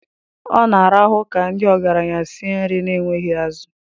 Ọ na-arahu ka ndị ọgaranya sie nri na-enweghị azụ.